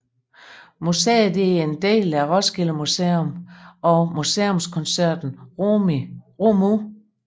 Museet er en del af Roskilde Museum og Museumskoncernen ROMU